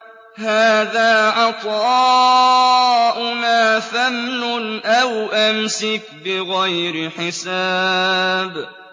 هَٰذَا عَطَاؤُنَا فَامْنُنْ أَوْ أَمْسِكْ بِغَيْرِ حِسَابٍ